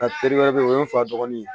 A teri wɛrɛ bɛ yen o ye n fa dɔgɔnin ye